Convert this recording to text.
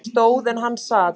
Ég stóð en hann sat.